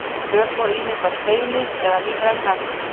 Þök voru ýmist af steini eða lífrænum efnum.